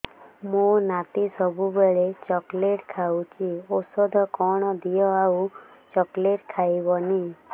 ମୋ ନାତି ସବୁବେଳେ ଚକଲେଟ ଖାଉଛି ଔଷଧ କଣ ଦିଅ ଆଉ ଚକଲେଟ ଖାଇବନି